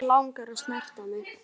Þig langar að snerta mig.